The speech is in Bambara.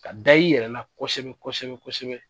Ka da i yɛrɛ la, kosɛbɛ kosɛbɛ kosɛbɛ.